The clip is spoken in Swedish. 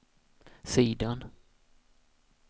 sidan